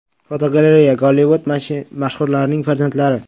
Fotogalereya: Gollivud mashhurlarning farzandlari.